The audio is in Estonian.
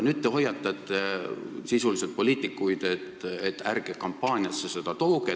Nüüd te hoiatate sisuliselt poliitikuid, et ärge seda kampaaniasse tooge.